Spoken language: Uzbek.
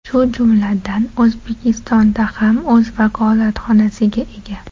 Shu jumladan, O‘zbekistonda ham o‘z vakolatxonasiga ega.